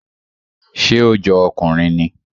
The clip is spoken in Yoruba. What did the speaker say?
Ṣé ó jọ ọkùnrin ni?